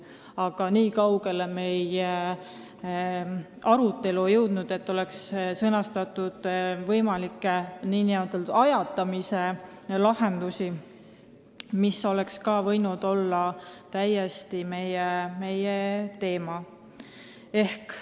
Aga nii kaugele meie arutelu ei jõudnud, et oleks sõnastatud võimalikke nn ajatamise lahendusi, ehkki see oleks võinud täiesti teema olla.